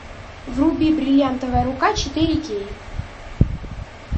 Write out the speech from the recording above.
вруби бриллиантовая рука четыре кей